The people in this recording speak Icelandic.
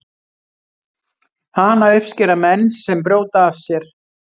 Hana uppskera menn sem brjóta af sér.